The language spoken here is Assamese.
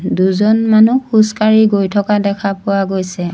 দুজন মানুহ খোজকাঢ়ি গৈ থকা দেখা পোৱা গৈছে।